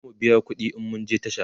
zamu biya ƙuɗi in mun je tasha